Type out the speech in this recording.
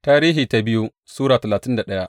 biyu Tarihi Sura talatin da daya